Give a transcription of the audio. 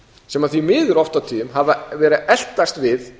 sem því miður oft á tíðum hafa verið að eltast við